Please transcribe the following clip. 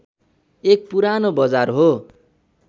एक पुरानो बजार हो